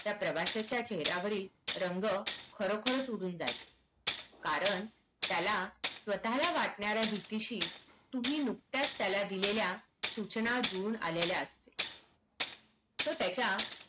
त्या प्रवाश्याच्या चेहर्‍यावरील रंग खरोखरच उडून जाईल कारण त्याला स्वताला वाटण्यार्‍या भीतीशी तुम्ही नुकत्याच त्याला दिलेल्या सूचना धुवून आलेल्या असते तर त्याच्या